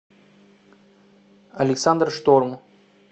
александр шторм